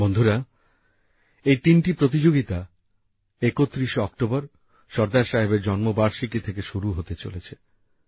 বন্ধুরা এই তিনটি প্রতিযোগিতা ৩১শে অক্টোবর সর্দার সাহেবের জন্মবার্ষিকী থেকে শুরু হতে চলেছে